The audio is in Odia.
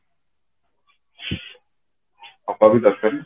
ହବା ବି ଦରକାର